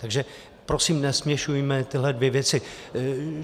Takže prosím, nesměšujme tyhle dvě věci.